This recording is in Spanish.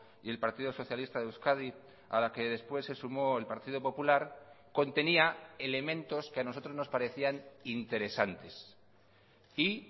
y el partido socialista de euskadi a la que después se sumó el partido popular contenía elementos que a nosotros nos parecían interesantes y